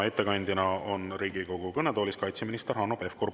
Ettekandjana on Riigikogu kõnetoolis kaitseminister Hanno Pevkur.